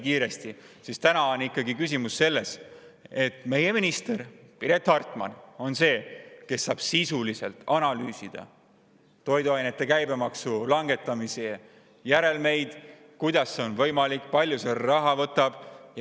Küsimus on ikkagi selles, et meie minister Piret Hartman on see, kes saab sisuliselt analüüsida toiduainete käibemaksu langetamise järelmeid, et kuidas see on võimalik ja kui palju see raha võtab.